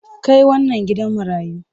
Kai wannan gidan marayu!